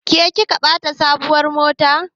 Ke kika bata sabuwar mota?